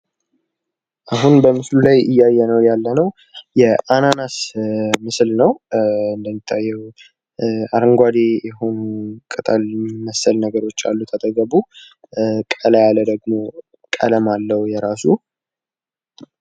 አሁን በምስሉ ላይ እያየነው ያለነው የአናነስ ምስል ነው እንደሚታየው አረንጓዴ ቅጠል መሰል ነገሮች አሉት አጠገቡ ቀላ ያለ ደግሞ ቀለም አለው የራሱ